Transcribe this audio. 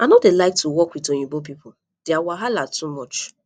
i no dey like work with oyinbo people dia wahala too much